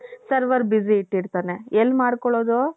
server busy ಇಟ್ಟಿರ್ತಾನೆ ಎಲ್ ಮಾಡ್ಕೊಳ್ಳೋದು.